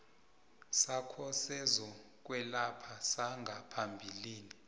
sakho sezokwelapha sangaphambilini